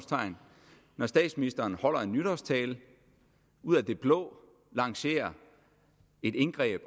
når statsministeren holder en nytårstale og ud af det blå lancerer et indgreb